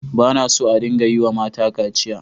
Ba na so a dinga yiwa mata kaciya.